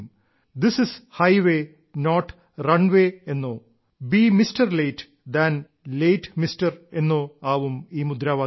this is highway not runway എന്നോ അല്ലെങ്കിൽ be mister late than late mister എന്നൊക്കെയാവും മുദ്രാവാക്യങ്ങൾ